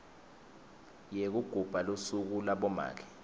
yekugubha lusuku labomake